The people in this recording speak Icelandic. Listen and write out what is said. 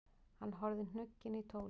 Hann horfði hnugginn í tólið.